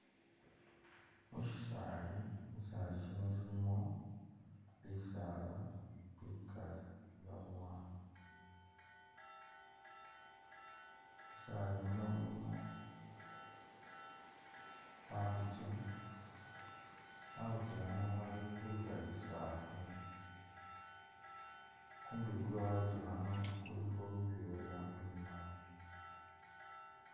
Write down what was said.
Mushisali shisali shino shilimo bisala bikali byabowa mushisali muno mulimo khakhukye , khakhukye khano khali khulya lisafu , kumubili kwe khakhukye khano kulikho bibyoya bimali.